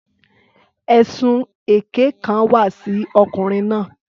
Ẹ̀sùn èké kan wà sí ọkùnrin náà.